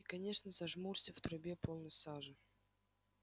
и конечно зажмурься в трубе полно сажи